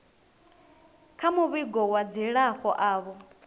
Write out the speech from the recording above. kha muvhigo wa dzilafho avho